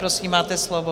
Prosím, máte slovo.